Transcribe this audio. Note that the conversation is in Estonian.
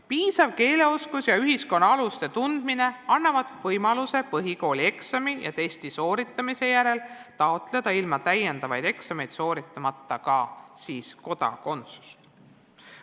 Piisav keeleoskus ja ühiskonna aluste tundmine annavad võimaluse põhikoolieksami ja testi sooritamise järel taotleda ilma täiendavaid eksameid sooritamata ka kodakondsust.